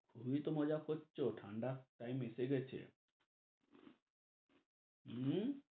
খুবইত মজা করছ ঠান্ডা তাই বেঁচে গেছে হম